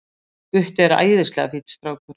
Gutti er æðislega fínn strákur.